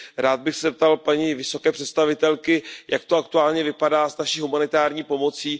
Rád bych se zeptal paní vysoké představitelky Jak to aktuálně vypadá s naší humanitární pomocí?